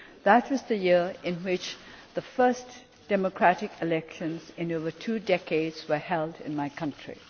That was the year in which the first democratic elections in over two decades were held in my country.